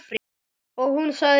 Og hún sagði jú.